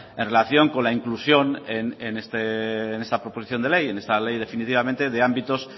en relación con la inclusión en esta proposición de ley en esta ley definitivamente de ámbitos